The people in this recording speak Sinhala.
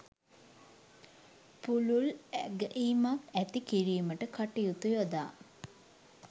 පුළුල් ඇගැයීමක් ඇති කිරීමට කටයුතු යොදා